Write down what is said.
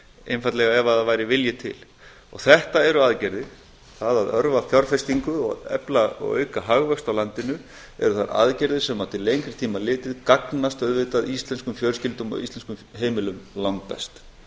einfaldlega ef það væri vilji til þetta eru aðgerðir að örva fjárfestingu og efla hagvöxt á landinu eru þær aðgerðir sem til lengri tíma litið gagnast auðvitað íslenskum fjölskyldum og íslenskum heimilum langbest